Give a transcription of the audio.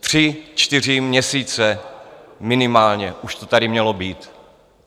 Tři, čtyři měsíce minimálně už to tady mělo být.